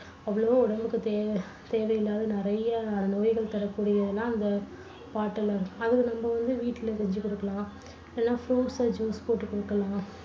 அவ்வளவும் உடம்புக்கு தேவை~ தேவையில்லாத நிறைய நோய்கள் தரக்கூடிய எல்லாம் அந்த bottle ல இருக்கும். அத நம்ப வந்து வீட்டுல செஞ்சு குடுக்கலாம். இல்லன்னா fruits அ juice போட்டுக் குடுக்கலாம்.